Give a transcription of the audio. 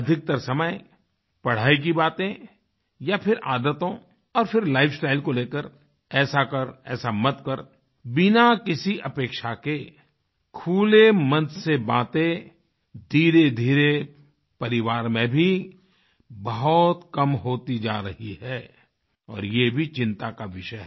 अधिकतर समय पढ़ाई की बातें या फिर आदतों और फिर लाइफस्टाइल को लेकर ऐसा कर ऐसा मत कर बिना किसी अपेक्षा के खुले मन से बातें धीरेधीरे परिवार में भी बहुत कम होती जा रही है और यह भी चिंता का विषय है